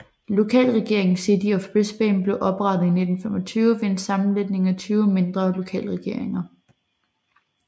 Lokalregeringen City of Brisbane blev oprettet i 1925 ved en sammenlægning af 20 mindre lokalregeringer